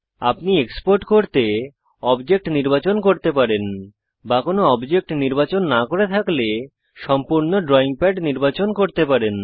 আপনি এক্সপোর্ট করতে অবজেক্ট নির্বাচন করতে পারেন বা কোনো অবজেক্ট নির্বাচন না করে থাকলে সম্পূর্ণ ড্রয়িং প্যাড নির্বাচন করতে পারেন